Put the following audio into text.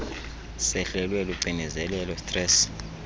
sehlelwe lucinezelo stress